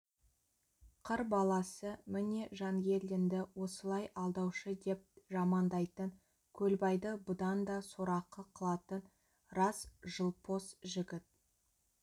қыр баласы міне жангелдинді осылай алдаушы деп жамандайтын көлбайды бұдан да сорақы қылатын рас жылпос жігіт